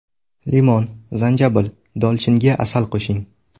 Limon, zanjabil, dolchinga asal qo‘shing.